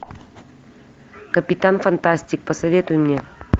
капитан фантастик посоветуй мне